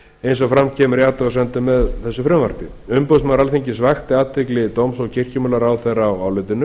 eins og fram kemur í athugasemdum með þessu frumvarpi umboðsmaður alþingis vakti athygli dóms og kirkjumálaráðherra á álitinu